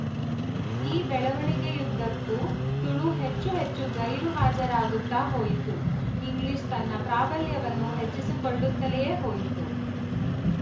ಈ ಬೆಳವಣಿಗೆಯುದ್ದಕ್ಕೂ ತುಳು ಹೆಚ್ಚು ಹೆಚ್ಚು ಗೈರುಹಾಜರಾಗುತ್ತಾ ಹೋಯಿತು ಇಂಗ್ಲಿಶ ತನ್ನ ಪ್ರಾಬಲ್ಯವನ್ನು ಹೆಚ್ಚಿಸಿಕೊಳ್ಳುತ್ತಲೇ ಹೋಯಿತು